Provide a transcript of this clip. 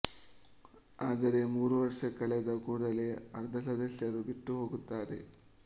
ಆದರೆ ಮೂರು ವರ್ಷ ಕಳೆದ ಕೂಡಲೇ ಅರ್ಧ ಸದಸ್ಯರು ಬಿಟ್ಟುಹೋಗುತ್ತಾರೆ